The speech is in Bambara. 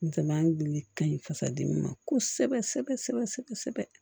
N cɛman gili ka ɲi fasa dimi ma kosɛbɛ sɛbɛ sɛbɛ sɛbɛ sɛbɛ